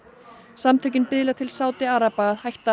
samtökin biðla til Sádi araba að hætta